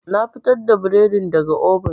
Na fitar da bredin daga oven.